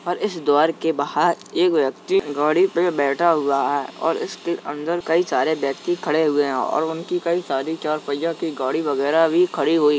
और इस द्वार के बहार एक व्यक्ति गाड़ी पे बैठा हुआ है और इसके अंदर कई सारे व्यक्ति खड़े हुए हैं और उनकी कई सारी चार पहिया की गाड़ी वगैरह भी खड़ी हुई है।